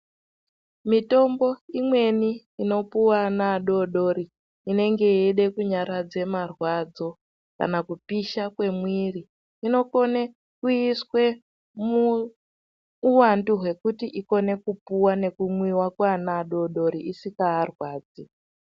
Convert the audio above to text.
Mitombo imweni inopuva ana adodori inenge yeide kunyaradza marwadzo kana kupisha kwemwiri. Inokone kuiswe muuvandu hwekuti ikone kupuva nekumwiva kweana adodori isikaarwadzi.